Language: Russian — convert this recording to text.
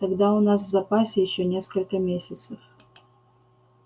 тогда у нас в запасе ещё несколько месяцев